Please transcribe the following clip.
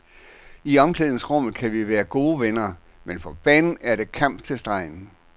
I omklædningsrummet kan vi være gode venner, men på banen er det kamp til stregen.